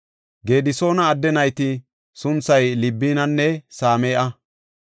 Gedisoona adde nayta sunthay Libinanne Same7a.